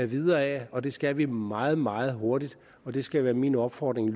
videre ad og det skal vi meget meget hurtigt og det skal være min opfordring